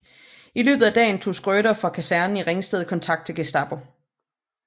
I løbet af dagen tog Schrøder fra kasernen i Ringsted kontakt til Gestapo